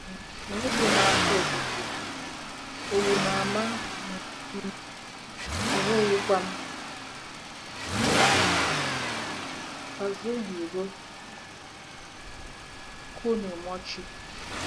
um Enweghị m afọ ojuju, owu na-ama um m, na enweghịkwa m. - KAZUHIRO KUNIMOCHI